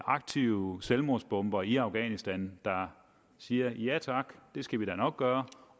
aktive selvmordsbombere i afghanistan der siger ja tak det skal vi da nok gøre